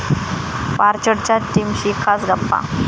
पार्च्ड'च्या टीमशी खास गप्पा